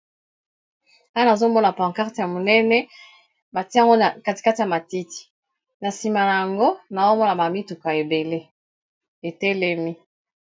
Awa nazomona pancarte ya monene batiango katikati ya matiti na nsima na yango nazomona bamituka ebele etelemi